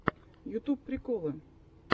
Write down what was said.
ютуб приколы